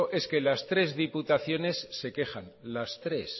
es que las tres diputaciones se quejan las tres